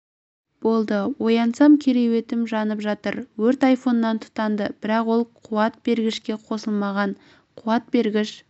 болды оянсам кереуетім жанып жатыр өрт айфоннан тұтанды бірақ ол қуат бергішке қосылмаған қуат бергіш